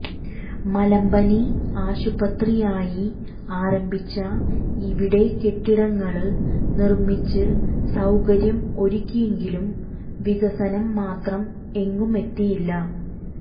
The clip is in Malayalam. മലമ്പനി ആശുപത്രിയായി ആരംഭിച്ച ഇവിടെ കെട്ടിടങ്ങള് നിര്മിച്ച് സൌകര്യം ഒരുക്കിയെങ്കിലും വികസനം മാത്രം എങ്ങും എത്തിയില്ല